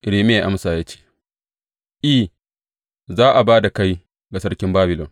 Irmiya ya amsa ya ce, I, za a ba da kai ga sarkin Babilon.